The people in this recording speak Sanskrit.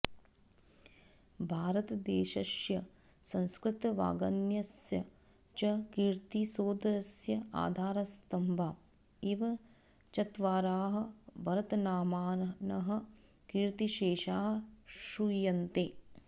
भारतदेशस्य संस्कृतवाङ्मयस्य च कीर्तिसौधस्य आधारस्तम्भा इव चत्वारः भरतनामानः कीर्तिशेषाः श्रूयन्ते